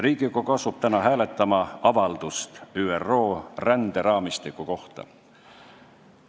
Riigikogu asub täna hääletama avaldust ÜRO ränderaamistiku kohta.